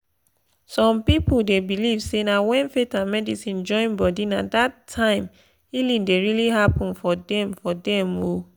some people dey believe say na when faith and medicine join body na that time healing dey really happen for dem. for dem. um